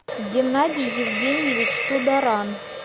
геннадий евгеньевич тударан